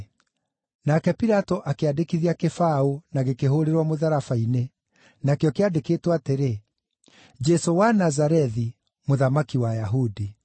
Nake Pilato akĩandĩkithia kĩbaũ na gĩkĩhũũrĩrwo mũtharaba-inĩ. Nakĩo kĩandĩkĩtwo atĩrĩ, JESŨ WA NAZARETHI, MŨTHAMAKI WA AYAHUDI.